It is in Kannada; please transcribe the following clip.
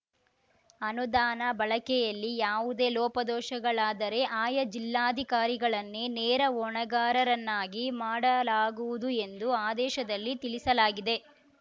ಅನುದಾನ ಬಳಕೆಯಲ್ಲಿ ಯಾವುದೇ ಲೋಪದೋಷಗಳಾದರೆ ಆಯಾ ಜಿಲ್ಲಾಧಿಕಾರಿಗಳನ್ನೇ ನೇರ ಹೊಣೆಗಾರರನ್ನಾಗಿ ಮಾಡಲಾಗುವುದು ಎಂದು ಆದೇಶದಲ್ಲಿ ತಿಳಿಸಲಾಗಿದೆ